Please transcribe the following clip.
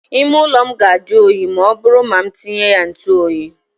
Ime ụlọ m ga ajụ oyi ma ọ bụrụ ma m tinye ya ntụ oyi.